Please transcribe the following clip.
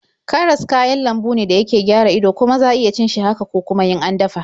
Karas kayan lambu ne da yake gara ido, kuma za iya cin shi haka ko kuma in an dafa.